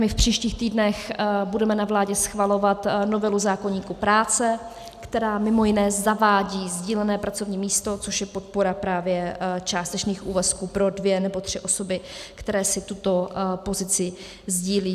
My v příštích týdnech budeme na vládě schvalovat novelu zákoníku práce, která mimo jiné zavádí sdílené pracovní místo, což je podpora právě částečných úvazků pro dvě nebo tři osoby, které si tuto pozici sdílí.